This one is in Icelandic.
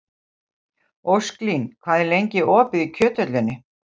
Ósklín, hvað er lengi opið í Kjöthöllinni?